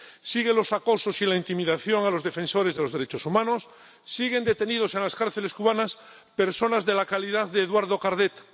Siguen los acosos y la intimidación a los defensores de los derechos humanos, siguen detenidos en las cárceles cubanas personas de la calidad de Eduardo Cardet.